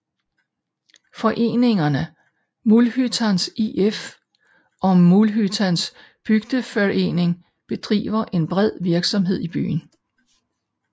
Foreningerne Mullhyttans IF og Mullhyttans bygdeförening bedriver en bred virksomhed i byen